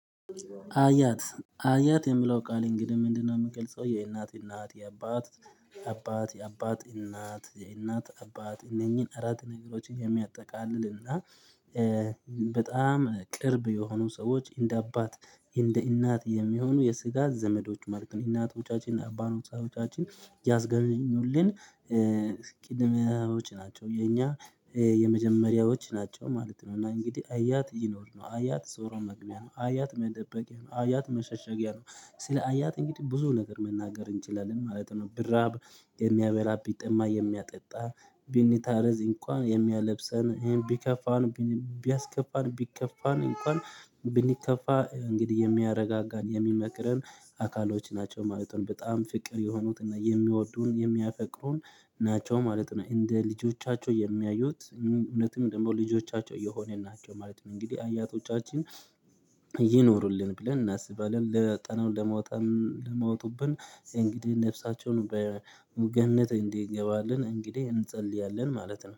አያት አያት የምለው ቃሌ እንግዲህ ምንድነው? የምገልጸው የእናት የእናት የአባት አባት የአባት እናት የእናት አባት እነኚህን አራት ነገሮችን የሚያጠቃልል እና በጣም ቅርብ የሆኑ ሰዎች እንደ አባት እንደ እናት የሚሆኑ የስጋ ዘመዶች ማለት ነው። እናቶቻችን እና አባ ኖታቻችን ያዝገኙልን ቅድመዎች ናቸው የኛ የመጀመሪያዎች ናቸው ማለት ነው። እና እንግዲህ አያት ይኖር ነው አያት ዞሮ መግቢያ ነው አያት መደበቂያ ነው አያት መሸሸጊያ ነው። ስለ አያት እንግዲህ ብዙ ነገር መናገር እንችላለን ማለት ነው። ብራብ የሚያበራ ቢጠማ የሚያጠጣ ቢኒታረዝ እንኳን የሚያለብሰን ቢከፋን ቢያስከፋን ቢከፋን እንኳን ብንከፋ እንግዲህ የሚያረጋጋን የሚመክረን አካሎች ናቸው ማለት ነው። በጣም ፍቅር የሆኑትና የሚወዱን የሚያፈቅሩን ናቸው ማለት ነው። እንደ ልጆቻቸው የሚያዩት እውነትም ደሞ ልጆቻቸው እየሆነ ናቸው ማለት ነው። እንግዲህ አያቶቻችን ይኖሩልን ብለን እናስባለን ለያጠናው ለመውጣትም ለመውጡብን እንግዲህ ነፍሳቸውን በሙገነት እንዲገባልን እንግዲህ እንጸልያለን ማለት ነው